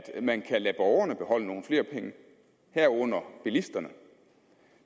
man kan lade borgerne beholde nogle flere penge herunder bilisterne